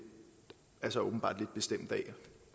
er så åbenbart lidt bestemt af